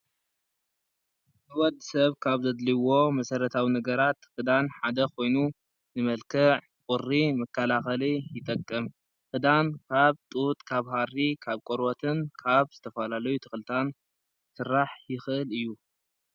ንወድ ሰብ ካብ ዘድልይዎ መሰረታዊ ነገራት ክዳን ሓደ ኮይኑ ንመልከዕ ቁሪ መከላከሊ ይጠቅም ክዳን ካብ ጡጥ ካብ ሃሪ ካብ ቆርበትን ካብ ዝተፈላለዩ ተክልታት ክስራሕ ይኽእል እዩ።